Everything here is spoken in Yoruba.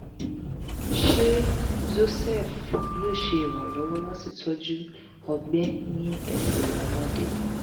ṣé zocef yóò ṣe ìrànlọ́wọ́ láti tọ́jú ọgbẹ́ ní ẹsẹ̀ ọmọdé?